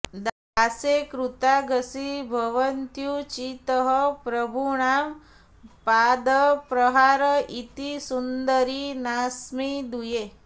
दासे कृतागसि भवत्युचितः प्रभूणां पादप्रहार इति सुन्दरि नास्मिदूये